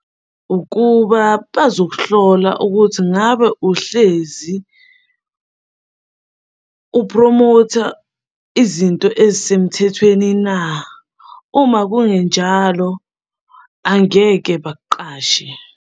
Ukuba bazokuhlola ukuthi ngabe uhlezi uphromotha izinto ezisemthethweni na? Uma kungenjalo angeke bakuqashe.